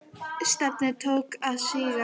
Stefnið tók að síga.